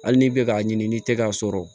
Hali n'i bɛ k'a ɲini ni tɛgɛ k'a sɔrɔ